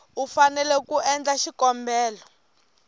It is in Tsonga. u fanele ku endla xikombelo